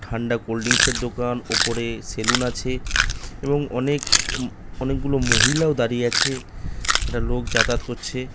ঠান্ডা cold drinks এর দোকান ওপরে সেলুন আছে এবং অনেক অনেকগুলো মহিলাও দাঁড়িয়ে আছে একটা লোক যাতায়াত করছে।